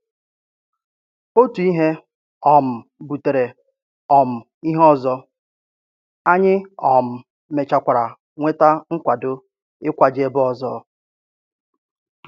Otu ìhè um butèrè um ihé ọzọ, anyị um mechàkwàrà nwetà nkwàdo ị̀kwàje ebe ọzọ.